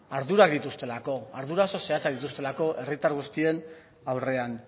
ardurak dituztelako ardura oso zehatzak dituztelako herritar guztien aurrean